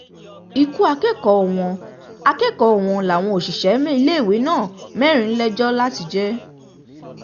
um ikú akẹ́kọ̀ọ́ wọn akẹ́kọ̀ọ́ wọn làwọn òṣìṣẹ́ um iléèwé náà mẹ́rin lẹ́jọ́ láti jẹ́